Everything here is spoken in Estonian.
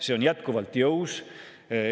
See on jätkuvalt jõus.